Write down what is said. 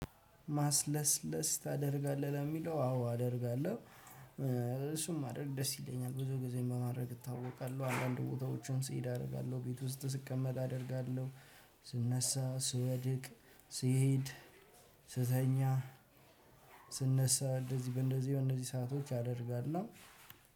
ማስለስለስ ታደርጋለህ ለምለው አዎ አደርጋለው። እሱም ማድረግ ደስ ይለኛል ብዙ ጊዜ በማድረግ እታወቃለሁ አንዳንድ ቦታዎቹን ሲሄድ አደርጋለሁ ቤት ውስጥ ስቀመጥ አደርጋለሁ። ስነሳ ስወድቅ ስሄድ ስተኛ ስነሳ በእነዚህ በእነዚህ በእነዚህ ሰአቶች አደርጋለሁ።